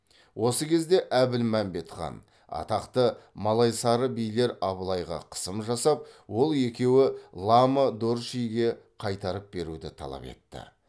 осы кезде әбілмәмбет хан атақты малайсары билер абылайға қысым жасап ол екеуі лама дорчжиге қайтарып беруді талап етті